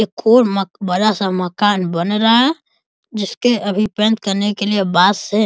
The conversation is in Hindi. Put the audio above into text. एक और मकबरा सा मकान बना रहा है जिसके अभी पेंट करने के लिए बांस से --